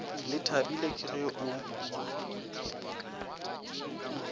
le thabile ke ge o